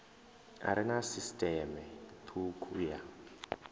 are na sisiṱeme thukhu ya